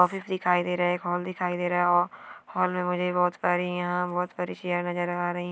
Office दिखाई दे रहा है एक हॉल दिखाई दे रहा है| हॉल में मुझे बहुत सारी यहाँ बहुत सारी चेयर नजर आ रही है।